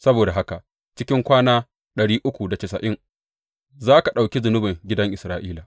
Saboda haka cikin kwana za ka ɗauki zunubin gidan Isra’ila.